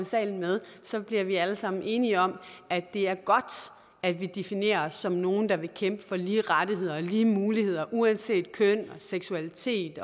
salen med så bliver vi alle sammen enige om at det er godt at vi definerer os som nogle der vil kæmpe for lige rettigheder og lige muligheder uanset køn seksualitet